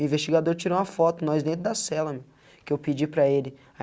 O investigador tirou uma foto, nós dentro da cela, que eu pedi para ele.